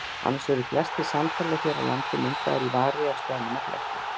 Annars eru flestir sandhólar hér á landi myndaðir í vari af steinum og klettum.